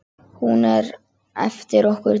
Hún er eftir okkur Dídí.